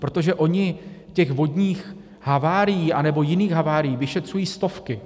Protože oni těch vodních havárií nebo jiných havárií vyšetřují stovky.